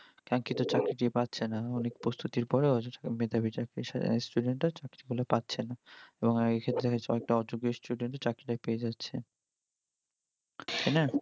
চাকরিটা পাচ্ছেনা অনেক প্রস্তুতির পরেও অনেক মেধাবি চাকরি student রা চাকরি গুলো পাচ্ছেনা, এবং এক্ষেত্রে কয়াক্ত অযোগ্য student চাকরিটা পেয়ে যাচ্ছে। তাইনা?